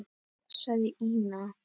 sagði Ína.